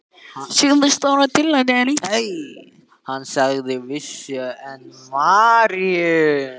Hann sagði að vísu: en María?